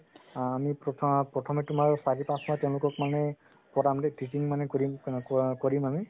আ আমি প্ৰথম প্ৰথমে তুমাৰ চাৰি পাচঁ মাহ তেওঁলোকক মানে teaching মানে কৰিম ক কৰিম আমি